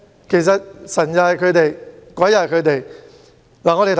其實，神是他們，鬼又是他們。